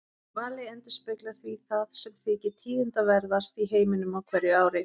Valið endurspeglar því það sem þykir tíðindaverðast í heiminum á hverju ári.